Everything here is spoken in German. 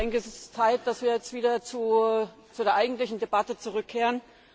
Es ist Zeit, dass wir jetzt wieder zu der eigentlichen Debatte zurückkehren.